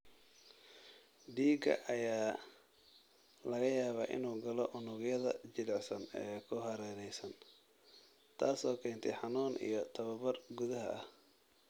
Dhiiga ayaa laga yaabaa inuu galo unugyada jilicsan ee ku hareeraysan, taasoo keentay xanuun iyo barar gudaha ah.